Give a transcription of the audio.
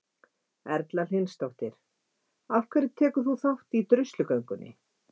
Erla Hlynsdóttir: Af hverju tekur þú þátt í druslugöngunni?